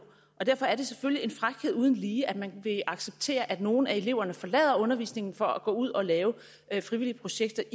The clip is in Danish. og derfor er det selvfølgelig en frækhed uden lige at man vil acceptere at nogle af eleverne forlader undervisningen for at gå ud og lave frivillige projekter